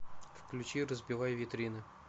включи разбивай витрины